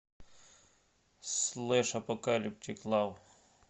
слэш апокалиптик лав